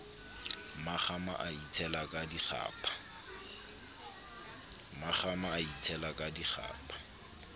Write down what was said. mmakgama a itshela ka dikgapha